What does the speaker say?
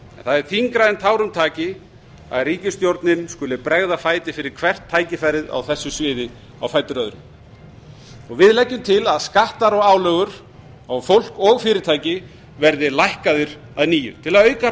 það er þyngra en tárum taki að ríkisstjórnin skuli bregða fæti fyrir hvert tækifærið á þessu sviði á fætur öðru við eigum til að skattar og álögur á fólk og fyrirtæki verði lækkaðir að nýju til að auka